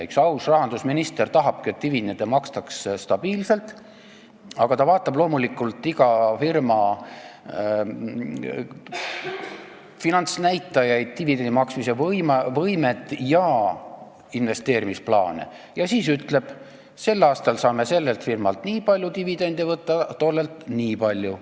Üks aus rahandusminister tahabki, et dividende makstakse stabiilselt, aga ta vaatab loomulikult iga firma finantsnäitajaid, dividendi maksmise võimet ja investeerimisplaane ning siis ütleb: sel aastal saame sellelt firmalt nii palju dividendi võtta, tollelt nii palju.